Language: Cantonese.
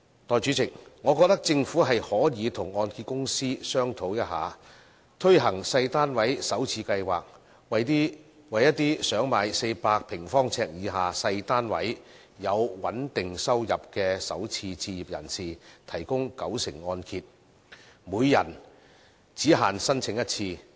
代理主席，我認為政府可以與香港按揭證券有限公司商討一下，推行小型單位首次置業計劃，為想購買400平方呎以下的小型單位、有穩定收入的首次置業人士，提供九成按揭，每人限申請一次。